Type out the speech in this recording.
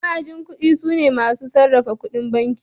Ma'ajin banki sune masu sarrafa ƙudin banki.